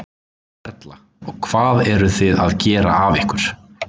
Erla: Og hvað eruð þið að gera af ykkur?